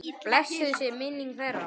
Blessuð sé minning þeirra.